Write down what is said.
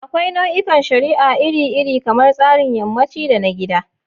Akwai nau'ikan shari'a iri-iri, kamar tsarin yammaci da na gida.